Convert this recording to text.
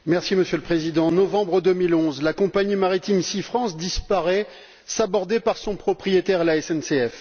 Monsieur le Président, en novembre 2011, la compagnie maritime SeaFrance disparaît, sabordée par son propriétaire la SNCF.